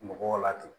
Mɔgɔw la ten